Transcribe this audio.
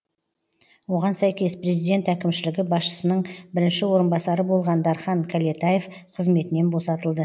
оған сәйкес президент әкімшілігі басшысының бірінші орынбасары болған дархан кәлетаев қызметінен босатылды